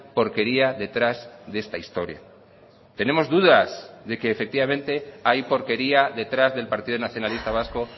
porquería detrás de esta historia tenemos dudas de que efectivamente hay porquería detrás del partido nacionalista vasco